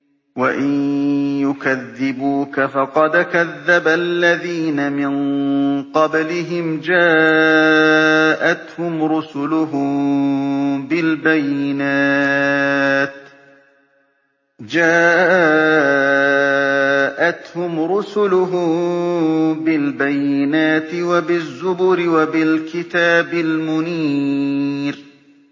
وَإِن يُكَذِّبُوكَ فَقَدْ كَذَّبَ الَّذِينَ مِن قَبْلِهِمْ جَاءَتْهُمْ رُسُلُهُم بِالْبَيِّنَاتِ وَبِالزُّبُرِ وَبِالْكِتَابِ الْمُنِيرِ